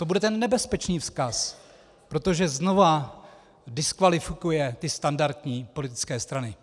To bude ten nebezpečný vzkaz, protože znova diskvalifikuje ty standardní politické strany.